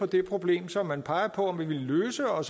det problem som man peger på at ville løse og